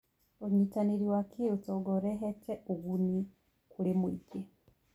ũnyitanĩri wa kĩũtonga ũrehete ũguni kũrĩ mũingĩ.